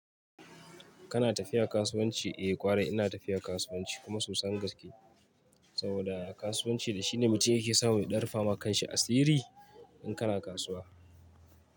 Kana tafiya kasuwanci? Eh ƙwarai ina tafiya kasuwanci kuma sosan gaske saboda kasuwanci da shi ne mutum yake samu ya dan rufawa kan shi asiri in kana kasuwa.